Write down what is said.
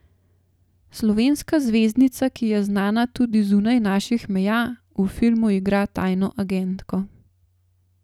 Slovenska zvezdnica, ki je znana tudi zunaj naših meja, v filmu igra tajno agentko.